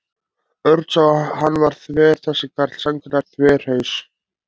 Örn sá að hann var þver þessi karl, sannkallaður þverhaus.